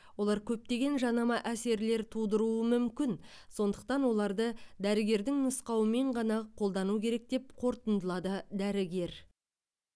олар көптеген жанама әсерлер тудыруы мүмкін сондықтан оларды дәрігердің нұсқауымен ғана қолдану керек деп қортындылады дәрігер